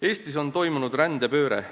Eestis on toimunud rändepööre.